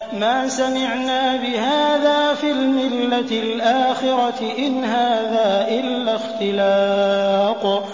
مَا سَمِعْنَا بِهَٰذَا فِي الْمِلَّةِ الْآخِرَةِ إِنْ هَٰذَا إِلَّا اخْتِلَاقٌ